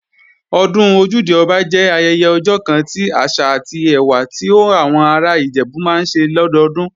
Ọdún Ojúde-Ọba jẹ́ ayẹyẹ ọjọ́ kan ti àṣà àti ẹwà ti àwọn ará Ìjẹ̀bú máa ń ṣe lọ́dọdún